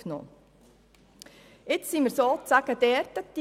Nun befinden wir uns an diesem Punkt: